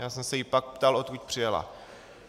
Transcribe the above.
Já jsem se jí pak ptal, odkud přijela.